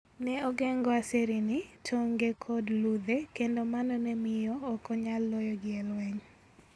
Ne ogeng'o aserini, tonge, kod ludhe, kendo mano ne miyo ok onyal loyogi e lweny.